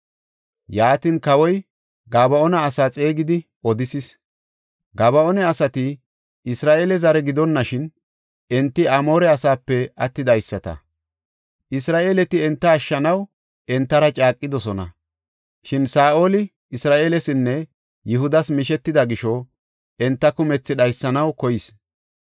Yaatin kawoy Gaba7oona asaa xeegidi odisis. Gaba7oona asati Isra7eele zare gidonashin, enti Amoore asaape attidaysata. Isra7eeleti enta ashshanaw entara caaqidosona; shin Saa7oli Isra7eelesinne Yihudas mishetida gisho, enta kumethi dhaysanaw koyis.